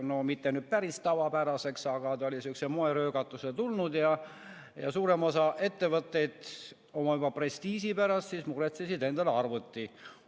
No mitte küll päris tavapäraseks, aga see oli sihukese moeröögatusena tulnud ja suurem osa ettevõtteid juba oma prestiiži pärast muretses endale arvuti.